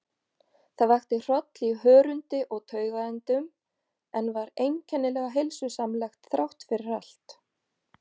Það vakti hroll í hörundi og taugaendum, en var einkennilega heilsusamlegt þráttfyrir allt.